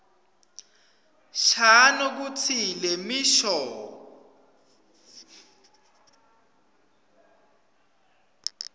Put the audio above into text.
shano kutsi lemisho